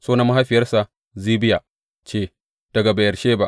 Sunan mahaifiyarsa Zibiya ce; daga Beyersheba.